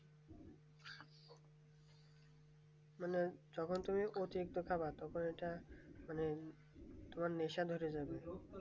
মানে যখন তুমি অতিরিক্ত খাবা তখন ওটা মানে তোমার নেশা ধরে যাবে